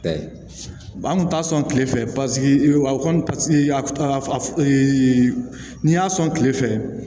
Ɛɛ an kun t'a sɔn kile fɛ paseke o kɔni paseke a n'i y'a sɔn kile fɛ